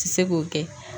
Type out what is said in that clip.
Ti se k'o kɛ